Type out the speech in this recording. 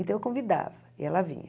Então eu convidava e ela vinha.